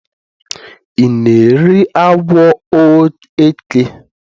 I na-eri agwọ eke?